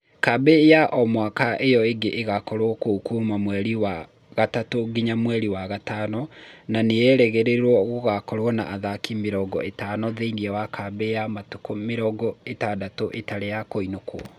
Kambĩ ya o mwaka ĩo ĩngĩ ĩgakorwo kuo kuma mweri wa gatatũ nginya mweri wa gatano na nĩĩrerĩgĩrĩrwo gũgakorwo na athaki mĩrongo ĩtano thĩinĩ wa kambĩ ya matukũ mĩrongo ĩtandatu ĩtari ya kũinũkũo